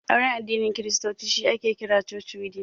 Auren addinin kiristoci shi ake kira 'Church wedding'